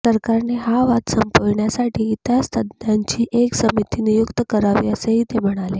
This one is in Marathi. सरकारने हा वाद संपविण्यासाठी इतिहासतज्ज्ञांची एक समिती नियुक्त करावी असेही ते म्हणाले